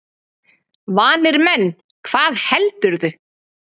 Vanir menn, hvað heldurðu!